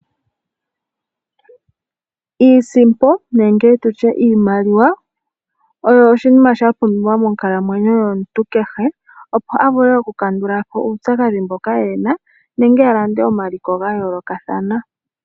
Iisimpo nenge tutye iimaliwa oyo oshinima shapumbiwa monkalamwenyo yomuntu kehe opo avule okukandula po uupyakadhi mboka ena nenge alande omaliko gayoolokathana.